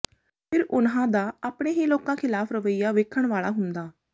ਫਿਰ ਉਨ੍ਹਾਂ ਦਾ ਆਪਣੇ ਹੀ ਲੋਕਾਂ ਖਿਲਾਫ ਰਵੱਈਆ ਵੇਖਣ ਵਾਲਾ ਹੁੰਦਾ